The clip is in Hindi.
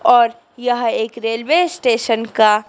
और यह एक रेलवे स्टेशन का--